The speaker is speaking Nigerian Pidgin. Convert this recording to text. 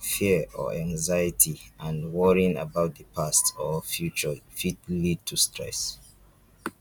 fear or anxiety and worrying about di past or future fit lead to stress